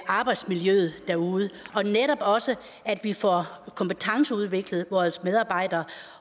arbejdsmiljøet derude og netop også at vi får kompetenceudviklet vores medarbejdere